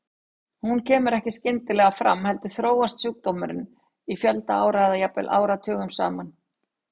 Hún kemur ekki skyndilega fram heldur þróast sjúkdómurinn í fjölda ára eða jafnvel áratugum saman.